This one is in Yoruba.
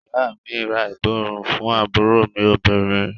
Ìyá à mi ra ìborùn fún àbúrò mí obìnrin.